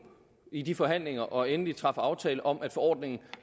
i de forhandlinger og træffe endelig aftale om at forordningen